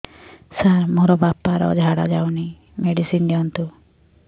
ସାର ମୋର ବାପା ର ଝାଡା ଯାଉନି ମେଡିସିନ ଦିଅନ୍ତୁ